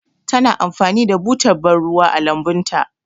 Ta na amfani da butar bar ruwa a lambun ta.